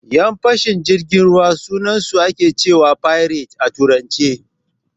Yan fashin jirgin ruwa sunansu ake cewa "pirates" a Turance.